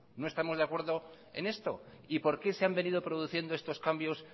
no estamos de acuerdo en esto y por qué se han venido produciendo estos cambios